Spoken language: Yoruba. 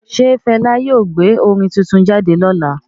Ṣe Fẹla yóò gbé orin tuntun jáde lọla?